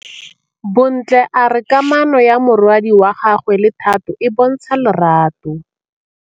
Bontle a re kamanô ya morwadi wa gagwe le Thato e bontsha lerato.